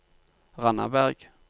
Randaberg